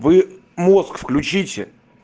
вы мозг включите